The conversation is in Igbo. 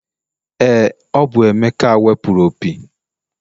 Ee, ọ bụ emeka wepụrụ opi.